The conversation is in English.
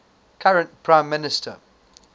current prime minister